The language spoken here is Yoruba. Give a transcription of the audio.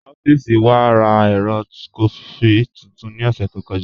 Ọffísì wà rá èrò kọfí tuntun ní ọ̀ṣẹ̀ tó kọja.